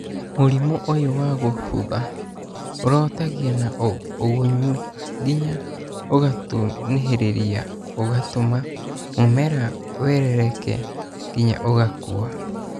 Mũrimũ ũyũ wa gũbũtha ũrotagia na ũgunyu nginya ũgatunĩhĩrĩra ũgatũma mũmera weleleke nginya ũgakua